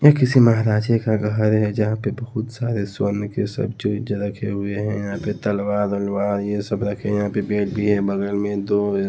ये किसी महाराजे का घर है जहाँ पर बहुत सारे स्वर्ण के सब रखे हुए हैं यहाँ पे तलवार अलवार ये सब रखे हैं यहाँ पे बेड भी है बगल में दो --